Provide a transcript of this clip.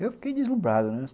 Eu fiquei deslumbrado, né.